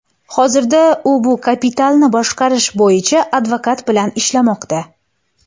Hozirda u bu kapitalni boshqarish bo‘yicha advokat bilan ishlamoqda.